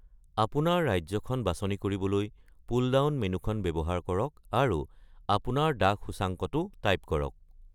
আপোনাৰ ৰাজ্যখন বাছনি কৰিবলৈ পুলডাউন মেন্যুখন ব্যৱহাৰ কৰক, আৰু আপোনাৰ ডাক সূচাংকটো টাইপ কৰক।